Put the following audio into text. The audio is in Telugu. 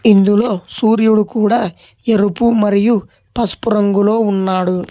ఇందులో సూర్యుడు కూడా ఎరుపు మరియు పసుపు రంగులో ఉన్నాడు.